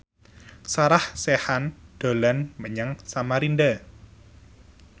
Sarah Sechan dolan menyang Samarinda